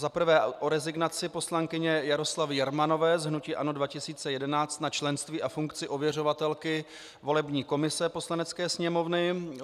Zaprvé o rezignaci poslankyně Jaroslavy Jermanové z hnutí ANO 2011 na členství a funkci ověřovatelky volební komise Poslanecké sněmovny.